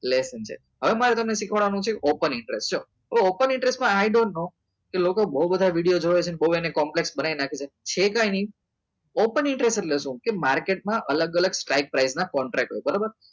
એટલે એ સમજાયું હવે મારે તમને સીખ્વાડવા નું છે open interest ચલો તો open interest માં i don't know કે લોકો બાઉ બધા video જોવે છે ને બાઉં એની complex બનાઈ નાખે છે છે કઈ નહિ open interest એટલે સુ કે market માં અલગ અલગ strick price નાં contract હોય બરોબર